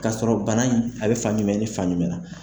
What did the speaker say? K'a sɔrɔ bana in, a bɛ fan jumɛn ni fan jumɛn na.